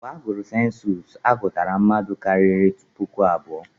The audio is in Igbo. Mgbe agụrụ sensus, a gụtara mmadụ karịrị puku abụọ.